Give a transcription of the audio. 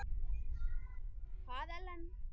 Hvaða Ellen?